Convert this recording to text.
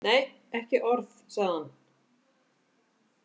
Nei, ekki orð, sagði hann.